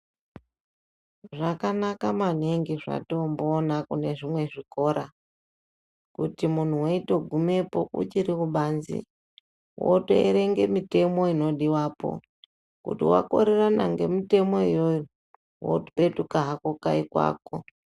Zvakanaka maningi zvatomboona kune zvimwe zvikora kuti munhu weitogumepo uchiri kubanze wotoerenge mitemo inodiwapo kuti wakorerana ngemitemo iyoyo wotopetuka hako kayi kwako.